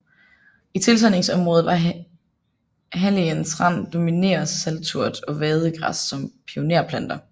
I tilsandingsområdet ved halligens rand dominerer salturt og vadegræs som pionerplanter